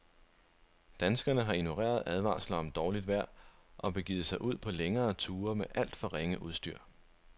Danskerne har ignoreret advarsler om dårligt vejr og begivet sig ud på længere ture med alt for ringe udstyr.